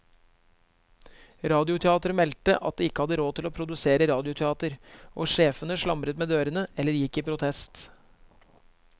Radioteateret meldte at de ikke hadde råd til å produsere radioteater, og sjefene slamret med dørene eller gikk i protest.